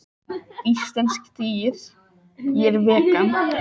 Þetta eru svokallaðir fargestir en teljast ekki íslensk dýr.